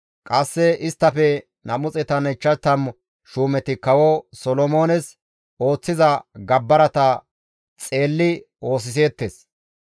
Qasse isttafe 250 shuumeti kawo Solomoones ooththiza gabbarata xeelli oosiseettes.